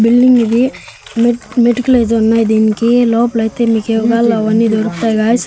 Building ఇది మె మెటుకలేదో ఉన్నాయి దీనికి లోపలైతే మీకు ఏం గావాలో అవన్ని దొరుకుతాయ్ గాయ్స్ .